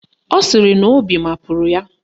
Ọ sịrị na obi mapụrụ ya.